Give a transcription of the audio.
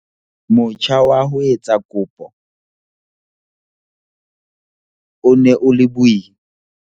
"Motjha wa ho etsa kopo o ne o le boima."